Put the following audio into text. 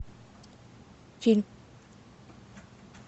фильм